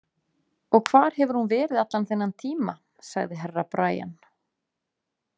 Og hvar hún hefur verið allan þennan tíma, sagði Herra Brian.